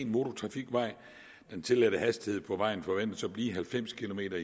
motortrafikvej den tilladte hastighed på vejen forventes at blive halvfems kilometer